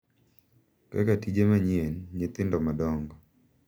Kaka tije manyien, nyithindo madongo, .